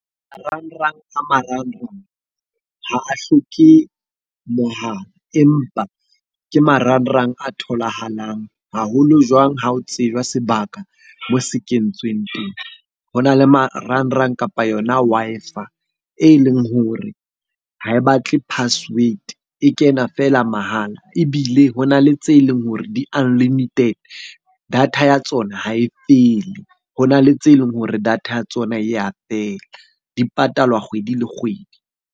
Marangrang a marang rang ha a hloke mohala, empa ke marangrang a tholahalang haholo jwang ha o tseba sebaka moo se kentsweng teng. Ho na le marangrang kapa yona Wi-Fi e leng hore ha e batle password, e kena feela mahala. Ebile ho na le tse leng hore di-unlimited, data ya tsona ha e fele. Ho na le tse leng hore data ya tsona e ya fela, di patalwa kgwedi le kgwedi.